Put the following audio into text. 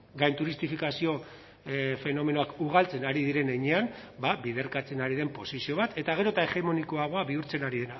gainturistifikazio fenomenoak ugaltzen ari diren heinean biderkatzen ari den posizio bat eta gero eta hegemonikoagoa bihurtzen ari